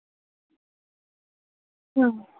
হম